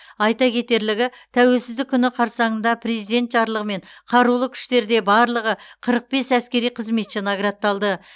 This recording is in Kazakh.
айта кетерлігі тәуелсіздік күні қарсаңында президент жарлығымен қарулы күштерде барлығы қырық бес әскери қызметші наградталды